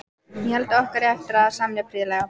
Ég held okkur eigi eftir að semja prýðilega.